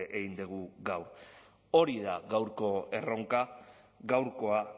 egin dugu gaur hori da gaurko erronka gaurkoa